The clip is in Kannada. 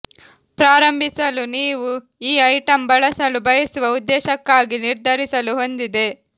ಪ್ರಾರಂಭಿಸಲು ನೀವು ಈ ಐಟಂ ಬಳಸಲು ಬಯಸುವ ಉದ್ದೇಶಕ್ಕಾಗಿ ನಿರ್ಧರಿಸಲು ಹೊಂದಿದೆ